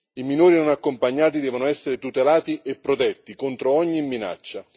i minori non accompagnati devono essere tutelati e protetti contro ogni minaccia.